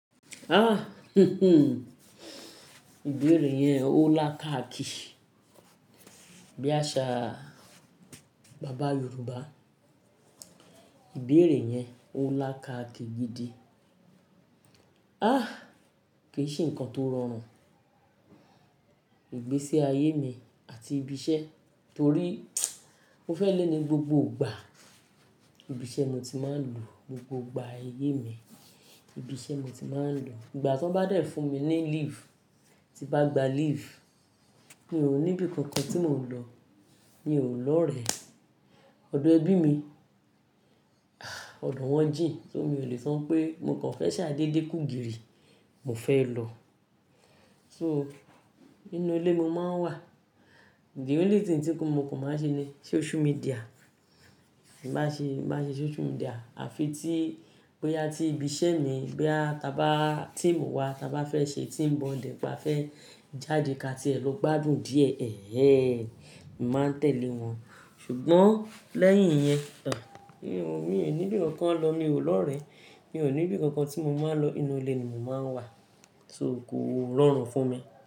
Ah, ìbéèrè yẹn ó lá káàkì. Bí àṣá, bàbá Yorùbá. Ìbéèrè yẹn ó lá káàkì gidi. Ah, kì í ṣe nǹkan tó rọrùn. Ìgbésí ayé mi àti ibi iṣẹ́ torí mo fẹ́ lé ní gbogbo ìgbà. Ibi iṣẹ́ mo ti máa ń lò gbogbo ìgbà ayé mi. Ibi iṣẹ́ mo ti máa ń lò. Ìgbà tí wọ́n bá dẹ́ fún mi ní leave, tí bá gba leave, mi ò níbi kankan tí mò ń lọ. Mi ò lọ orẹ. Ọ̀dọ̀ ẹbí mi, ọ̀dọ̀ wọ́n jìn só mó ì lè sọ́ pé mo kàn fẹ́ ṣàdédé kú gìrì, mo fẹ́ lọ. So, inú ilé ni mo máa ń wà. The only thing tí mo kùn máa ń ṣe ni social media. Èmi máa ṣe, máa ṣe social media. Àfi tí bó yà tí ibi iṣẹ́ mi bóyá, tábà timu wà, tí a bá fẹ́ ṣe team bonding bá fẹ́ jáde ká tí ẹ lọ gbádùn díẹ̀, ẹẹẹ. Mi máa tẹ̀lé wọn. Ṣùgbọ́n lẹ́yìn yẹn, mi ò níbi kankan lọ, mi ò lọ orẹ. Mi ò níbi kankan tí mo máa lọ. Inú ilé ni mò ń wà. So kò rọrùn fún mi.